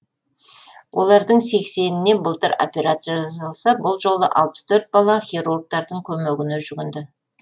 олардың сексеніне былтыр операция жасалса бұл жолы алпыс төрт бала хирургтардың көмегіне жүгінді